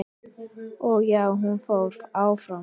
Og já, hún fór áfram!!